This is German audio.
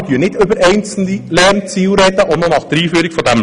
Wir sprechen nicht über einzelne Lernziele des Lehrplans.